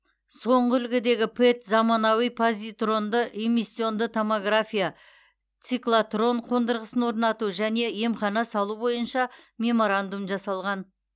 соңғы үлгідегі пэт заманауи позитронды эмиссионды томография циклотрон қондырғысын орнату және емхана салу бойынша меморандум жасалған